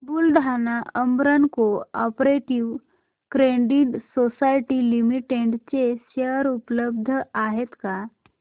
Buldhana urban cooperative credit society limited चे share उपलब्ध आहेत का